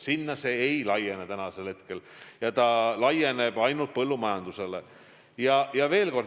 Sinna see ei laiene, see kehtib ainult põllumajanduses.